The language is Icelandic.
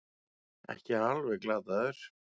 Ekki alveg glataður